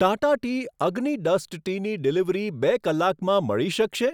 Tata tea Agni dust ટીની delivery બે કલાકમાં મળી શકશે?